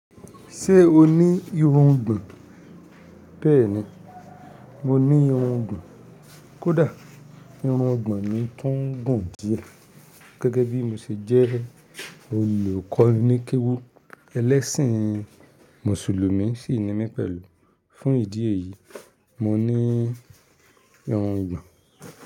Ṣé o ní irungbọ̀n? Bẹ́ẹ̀ni, mo ní irungbọ̀n. Kódà irungbọ̀n mi tún gùn díẹ̀. Gẹ́gẹ́ bí mo ṣe jẹ́ olùkọ́ní ni kéwú ẹlẹ́ṣìn mùsùlùmí sì nimí pẹ̀lú. Fún ìdí èyí, mo ní irungbọ̀n.